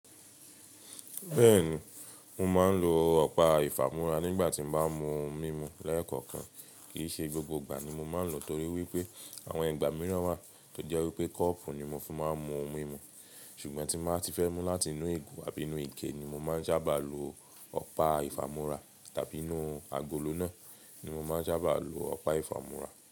Bẹ́ẹ̀ni, mo máa ń lo ọ̀pá ìfàmú́ra nígbà tí mo bá mú ohun mímu lẹ́ẹ̀kọ̀kan. Kì í ṣe gbogbo ìgbà ni mo máa ń lò ó torí wípé àwọn ìgbà mìíràn wà tó jẹ́ wípé kọ́ọ̀pù ni mo fi máa ń mú ohun mímu. Ṣùgbọ́n tí n bàá ti fẹ́ mú láti inú ìgò àbí inú ike ni mo máa ń sábà lo ọ̀pá ìfàmú́ra tàbí inú agolo náà ni mo máa ń sábà lo ọ̀pá ìfàmú́ra.